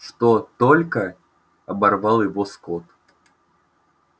что только оборвал его скотт